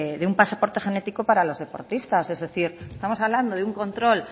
de un pasaporte genético para los deportistas es decir estamos hablando de un control